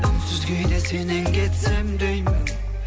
үнсіз кейде сенен кетсем деймін